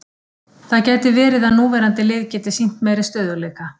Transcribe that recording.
Það gæti verið að núverandi lið geti sýnt meiri stöðugleika.